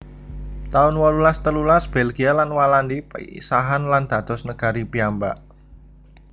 taun wolulas telulas Belgia lan Walandi pisahan lan dados negari piyambak